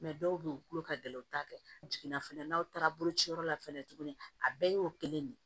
dɔw bɛ yen u tulo ka gɛlɛn u t'a kɛ jiginna fɛnɛ n'aw taara bolociyɔrɔ la fɛnɛ tuguni a bɛɛ y'o kelen de ye